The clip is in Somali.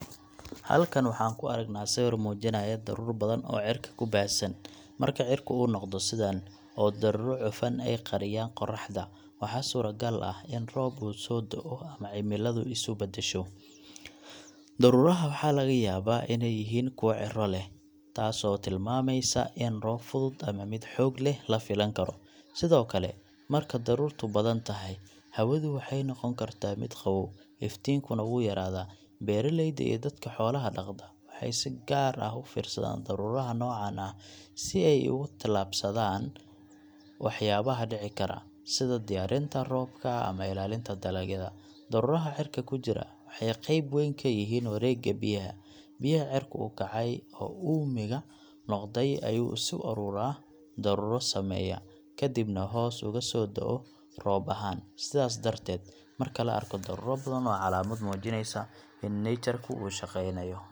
Halkan waxaan ku aragnaa sawir muujinaya daruur badan oo cirka ku baahsan. Marka cirka uu noqdo sidaan, oo daruuro cufan ay qariyaan qorraxda, waxaa suuragal ah in roob uu soo da’o ama cimiladu isu beddesho. Daruuraha waxaa laga yaabaa inay yihiin kuwa cirro leh, taasoo tilmaamaysa in roob fudud ama mid xoog leh la filan karo. Sidoo kale, marka daruurtu badan tahay, hawadu waxay noqon kartaa mid qabow, iftiinkuna wuu yaraadaa. Beeraleyda iyo dadka xoolaha dhaqda waxay si gaar ah u fiirsadaan daruuraha noocan ah si ay uga tallaabsadaan waxyaabaha dhici kara – sida diyaarinta roobka ama ilaalinta dalagyada. Daruuraha cirka ku jira waxay qayb weyn ka yihiin wareegga biyaha. Biyaha cirka u kacay oo uumiga noqday ayaa isu urura, daruuro sameeya, kadibna hoos ugu soo da’o roob ahaan. Sidaas darteed, marka la arko daruuro badan, waa calaamad muujinaysa in nature ku uu shaqeynayo.